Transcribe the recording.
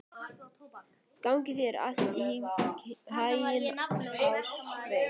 Gangi þér allt í haginn, Ástveig.